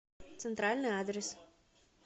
центральный адрес